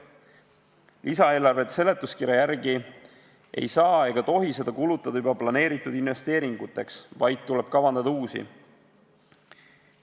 Lisaeelarve seletuskirja järgi ei saa ega tohi seda kulutada juba planeeritud investeeringuteks, vaid tuleb kavandada uusi.